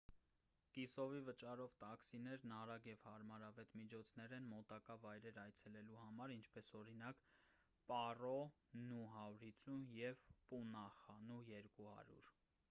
կիսովի վճարով տաքսիներն արագ և հարմարավետ միջոցներ են մոտակա վայրեր այցելելու համար ինչպես օրինակ՝ պարո նու 150 և պունախա նու 200: